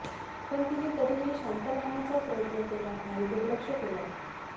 पण तिने तरीही शांत राहण्याचा प्रयत्न केला आणि दुर्लक्ष केलं